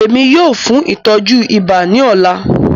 Ẹ̀mi yóò fún ìtọju ìbà ní òlà.